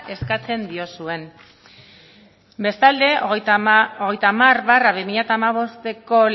eskatzen diozuen bestalde hogeita hamar barra bi mila hamabosteko